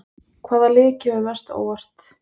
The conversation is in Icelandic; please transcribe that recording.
Hvaða lið kemur mest á óvart?